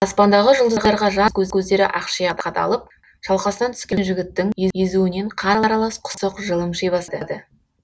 аспандағы жұлдыздарға жансыз көздері ақшиа қадалып шалқасынан түскен жігіттің езуінен қан аралас құсық жылымши бастады